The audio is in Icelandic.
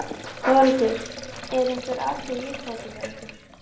Þórhildur: Eru einhver atriði í uppáhaldi hjá ykkur?